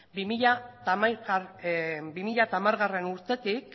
bi mila hamargarrena urtetik